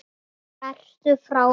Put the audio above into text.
Ertu frá þér??